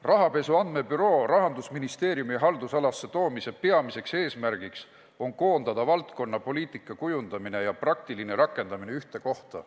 Rahapesu andmebüroo Rahandusministeeriumi haldusalasse toomise peamine eesmärk on koondada valdkonnapoliitika kujundamine ja praktiline rakendamine ühte kohta.